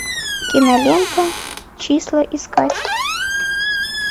кинолента числа искать